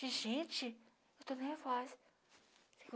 De gente, eu estou nervosa.